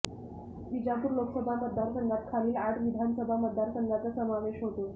विजापूर लोकसभा मतदारसंघात खालील आठ विधानसभा मतदारसंघांचा समावेश होतो